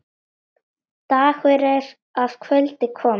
Dagur er að kvöldi kominn.